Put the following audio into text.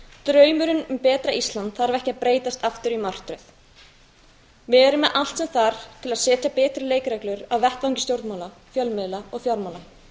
draumurinn um betra ísland þarf ekki að breytast aftur í martröð við erum með allt sem þarf til að setja betri leikreglur á vettvangi stjórnmála fjölmiðla og fjármála